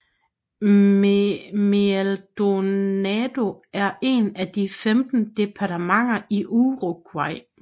Maldonado er et af de 19 departementer i Uruguay